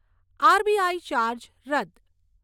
RBI charge રદ્દ